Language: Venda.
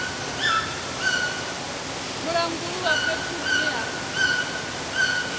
mulanguli wa fhethu hune ha